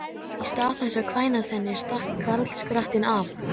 En í stað þess að kvænast henni stakk karlskrattinn af!